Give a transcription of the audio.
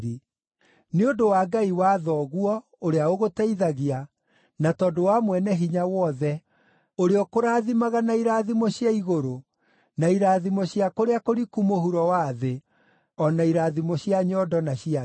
nĩ ũndũ wa Ngai wa thoguo, ũrĩa ũgũteithagia, na tondũ wa Mwene-Hinya-Wothe, ũrĩa ũkũrathimaga na irathimo cia igũrũ, na irathimo cia kũrĩa kũriku mũhuro wa thĩ, o na irathimo cia nyondo na cia nda.